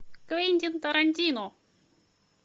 квентин тарантино